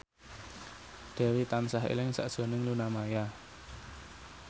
Dewi tansah eling sakjroning Luna Maya